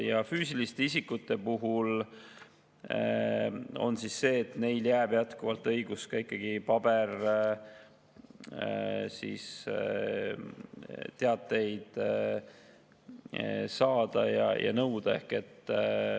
Ja füüsilistele isikutele jääb jätkuvalt õigus ikkagi paberteateid saada ja nõuda.